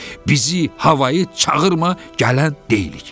Bizi havayı çağırma, gələn deyilik.